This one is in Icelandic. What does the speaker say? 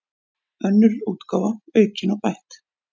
Önnur útgáfa, aukin og bætt.